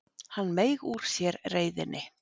Hann meig úr sér reiðinni.